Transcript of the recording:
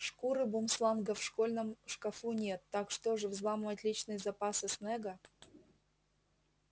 шкуры бумсланга в школьном шкафу нет так что же взламывать личные запасы снегга